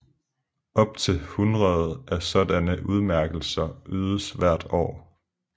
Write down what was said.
Op til hundrede af sådanne udmærkelser ydes hvert år